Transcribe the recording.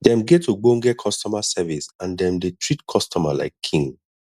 dem get ogbonge customer service and dem dey treat customer like king